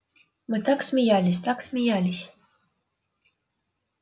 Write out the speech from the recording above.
мы так смеялись так смеялись